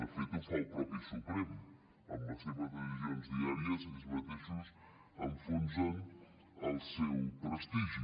de fet ho fa el mateix suprem amb les seves decisions diàries ells mateixos enfonsen el seu prestigi